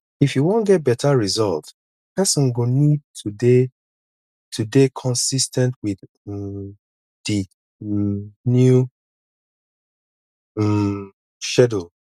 if you wan get better result person go need to dey to dey consis ten t with um di um new um schedule